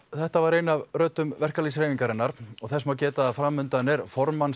þetta var ein af röddum verkalýðshreyfingarinnar þess má geta að framundan er